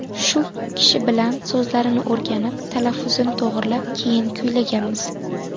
Shu kishi bilan so‘zlarini o‘rganib, talaffuzini to‘g‘rilab, keyin kuylaganmiz.